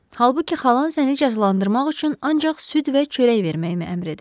Halbuki xalan səni cəzalandırmaq üçün ancaq süd və çörək verməyimi əmr edib.